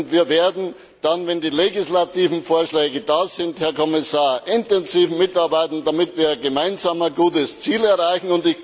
Wir werden dann, wenn die legislativen Vorschläge da sind, Herr Kommissar, intensiv mitarbeiten, damit wir gemeinsam ein gutes Ziel erreichen.